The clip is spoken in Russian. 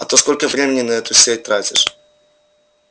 а ты сколько времени на эту сеть тратишь